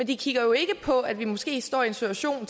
de kigger jo ikke på at vi måske står i en situation